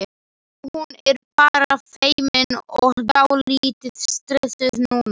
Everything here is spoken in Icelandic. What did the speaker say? Hún er bara feimin og dálítið stressuð núna.